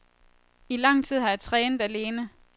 I lang tid har jeg trænet alene.